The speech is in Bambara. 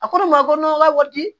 A ko ne ma ko n' ka wari di